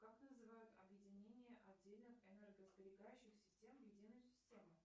как называют объединение отдельных энергосберегающих систем в единую систему